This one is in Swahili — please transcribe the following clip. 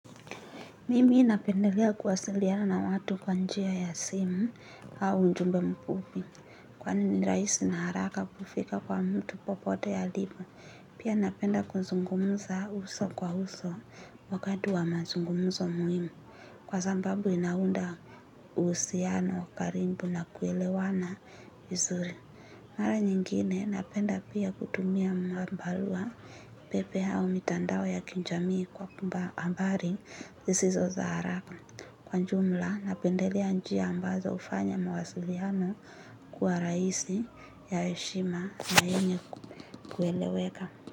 Mimi napendelea kuwasiliana na watu kwa njia ya simu au ujumbe mfupi kwani ni rahisi na haraka kufika kwa mtu popote alipo. Pia napenda kuzungumza uso kwa uso wakati wa mazungumzo muhimu. Kwa sababu inaunda uhusiano wa karibu na kuelewana vizuri. Mara nyingine napenda pia kutumia mabarua pepe hao mitandao ya kijamii kwamba habari, zisizo za haraka kwa ujumla napendelea njia ambazo hufanya mawasiliano kuwa rahisi ya heshima na yenye kueleweka.